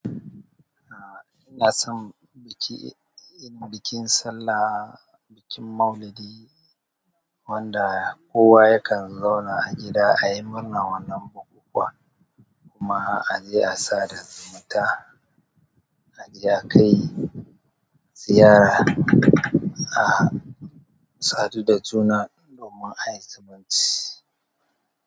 Ahh ina son biki, bikin sallah, bikin Maulidi wanda kowa yakan zauna a gida ayi murnan wannan bukukuwa kuma aje a sada zumunta aje akai ziyara a sadu da juna domin ayi zumunci.